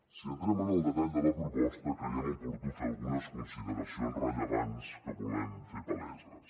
si entrem en el detall de la proposta creiem oportú fer algunes consideracions rellevants que volem fer paleses